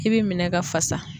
I bɛ minɛn ka fasa.